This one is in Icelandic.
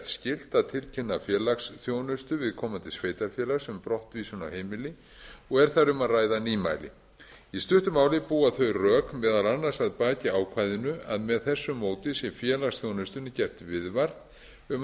skylt að tilkynna félagsþjónustu viðkomandi sveitarfélags um brottvísun af heimili og er þar um að ræða nýmæli í stuttu máli búa þau rök meðal annars að baki ákvæðinu að með þessu móti sé félagsþjónustunni gert viðvart um að